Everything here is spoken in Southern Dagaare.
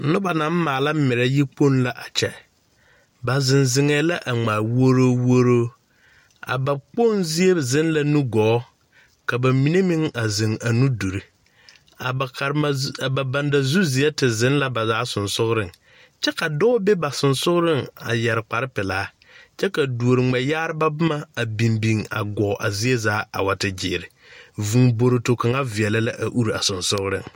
Noba naŋ maala merɛ yikpoŋ la a kyɛ ba zeŋ zeŋɛɛ la a ŋmaa wuoro wuoro a ba kpoŋzie zeŋ la nuguu ka ba mine meŋ zeŋ a nuduri a ba karema a ba bandazuseɛ te te zeŋ la sensɔgreŋ kyɛ ka dɔɔ be ba sensɔgreŋ a yɛre kpare pelaa kyɛ ka duori ŋmɛyaare boma a biŋ biŋ a guo a zie zaa a wa te gyiiri vūūkporoto urI a sensɔgreŋ.